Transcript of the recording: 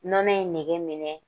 Nɔnɔ in nege minɛ